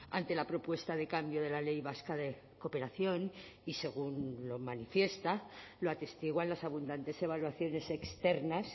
ante la propuesta de cambio de la ley vasca de cooperación y según lo manifiesta lo atestiguan las abundantes evaluaciones externas